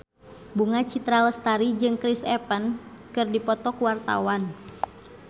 Bunga Citra Lestari jeung Chris Evans keur dipoto ku wartawan